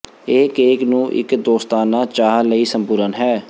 ਇਹ ਕੇਕ ਨੂੰ ਇੱਕ ਦੋਸਤਾਨਾ ਚਾਹ ਲਈ ਸੰਪੂਰਣ ਹੈ